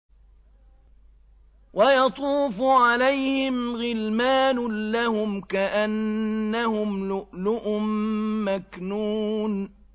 ۞ وَيَطُوفُ عَلَيْهِمْ غِلْمَانٌ لَّهُمْ كَأَنَّهُمْ لُؤْلُؤٌ مَّكْنُونٌ